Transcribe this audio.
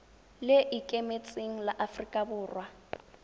le ikemetseng la aforika borwa